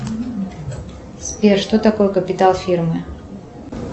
сбер что такое капитал фирмы